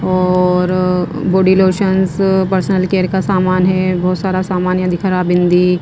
और body lotions personal care का सामान है बहुत सारा सामान या दिखा रहा बिंदी --